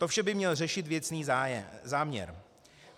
To vše by měl řešit věcný záměr.